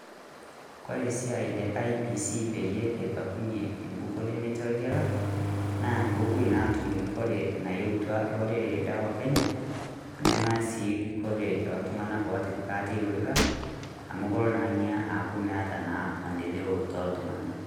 Kore siai le IEBC peyie ebakunyie enkukuo nemetii orgela naa pee opoi naa atum kikore naetua lorere le Kenya . Nemee sii kikore e ltung'anak otipikaa te orikaan amu keoo naa aaku meeta naa maendeleo to ltung'ana.